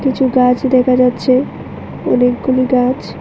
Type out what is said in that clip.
কিছু গাছ দেখা যাচ্ছে অনেকগুলি গাছ।